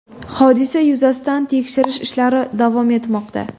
Hodisa yuzasidan tekshirish ishlari davom etmoqda.